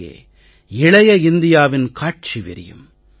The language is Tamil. இங்கே இளைய இந்தியாவின் காட்சி விரியும்